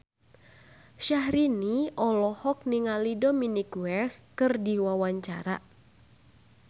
Syahrini olohok ningali Dominic West keur diwawancara